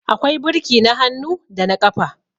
akwai birki na hannu da na ƙafa